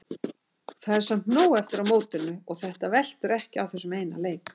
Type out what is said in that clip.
Það er samt nóg eftir af mótinu og þetta veltur ekki á þessum eina leik.